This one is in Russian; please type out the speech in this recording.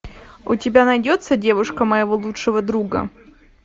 у тебя найдется девушка моего лучшего друга